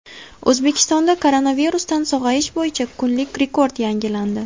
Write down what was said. O‘zbekistonda koronavirusdan sog‘ayish bo‘yicha kunlik rekord yangilandi.